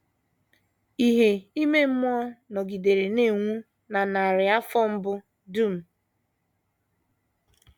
Ìhè ime mmụọ nọgidere na - enwu na narị afọ mbụ dum.